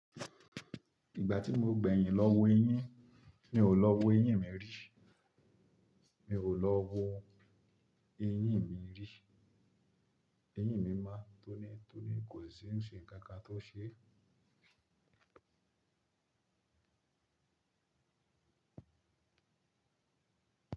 Ìgbà tí mo gbẹ̀yìn lọ wo eyín, mi ò lọ wo eyín mi rí. Mi ò lọ wo eyín mi rí. Eyín mi mo tónítóní kò sí ń ṣe nkankan tó ṣe.